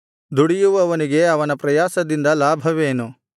ದುಡಿಯುವವನಿಗೆ ಅವನ ಪ್ರಯಾಸದಿಂದ ಲಾಭವೇನು